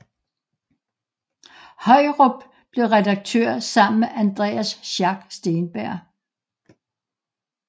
Højrup blev redaktør sammen med Andreas Schack Steenberg